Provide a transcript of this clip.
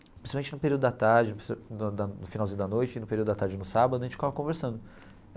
Principalmente no período da tarde, no no finalzinho da noite e no período da tarde no sábado, a gente ficava conversando.